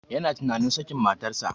Yana tunanin sakin matan sa